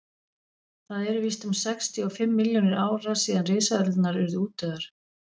það eru víst um sextíu og fimm milljónir ára síðan risaeðlurnar urðu útdauðar